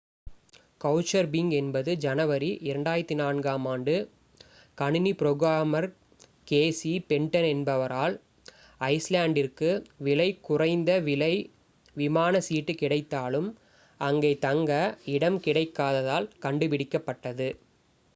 Couchsurfing என்பது ஜனவரி 2004 ம் ஆண்டு கணினி ப்ரோகிராமர் கேசி ஃபென்டன் என்பவரால் ஐஸ்லேண்ட்டிற்கு விலை குறைந்த விலை விமான சீட்டு கிடைத்தாலும் அங்கே தங்க இடம் கிடைக்காததால் கண்டுபிடிக்கப்பட்டது